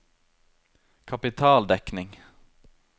kapitaldekning